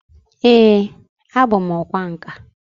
Ee, abu m ọkwá nkà